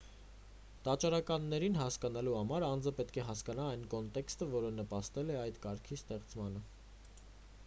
տաճարականներին հասկանալու համար անձը պետք է հասկանա այն կոնտեքստը որը նպաստել է այդ կարգի ստեղծմանը